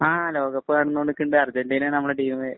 ആ ലോകകപ്പ് നടന്നോണ്ട് നിക്കണുണ്ട് അര്‍ജന്‍റീനയാണ് നമ്മടെ ടീമ്.